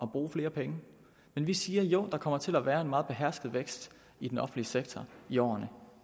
bruge flere penge men vi siger at der kommer til at være en meget behersket vækst i den offentlige sektor i årene